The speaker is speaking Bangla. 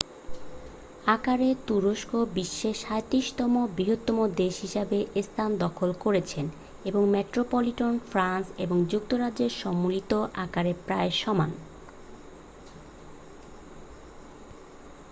আকারে তুরস্ক বিশ্বে 37-তম বৃহত্তম দেশ হিসাবে স্থান দখল করেছে এবং মেট্রোপলিটন ফ্রান্স এবং যুক্তরাজ্যের সম্মিলিত আকারের প্রায় সমান